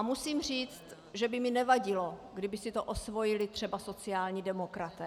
A musím říct, že by mi nevadilo, kdyby si to osvojili třeba sociální demokraté.